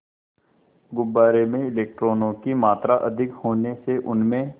गुब्बारे में इलेक्ट्रॉनों की मात्रा अधिक होने से उसमें